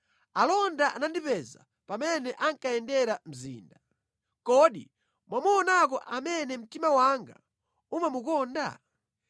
Alonda anandipeza pamene ankayendera mzinda. “Kodi mwamuonako amene mtima wanga umamukonda?”